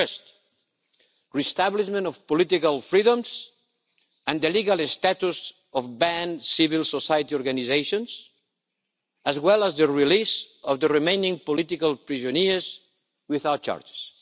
First, re-establishment of political freedoms and the legal status of banned civil society organisations, as well as the release of the remaining political prisoners without charges.